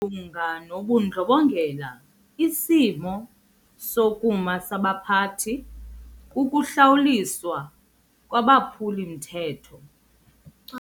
lunga nobundlobongela isimo sokuma sabaphathi kukuhlawuliswa kwabaphuli-mthetho.